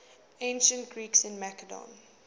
ancient greeks in macedon